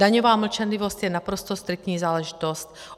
Daňová mlčenlivost je naprosto striktní záležitost.